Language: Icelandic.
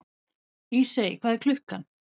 Ísey, hvað er klukkan?